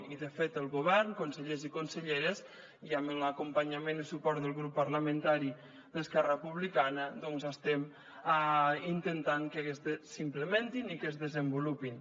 i de fet el govern consellers i conselleres i amb l’acompanyament i el suport del grup parlamentari d’esquerra republicana doncs estem intentant que s’implementin i que es desenvolupin